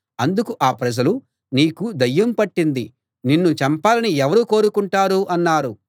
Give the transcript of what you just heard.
అందుకు ఆ ప్రజలు నీకు దయ్యం పట్టింది నిన్ను చంపాలని ఎవరు కోరుకుంటారు అన్నారు